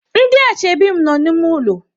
Ndị ashebi mụ nọ n'ime ụlọ.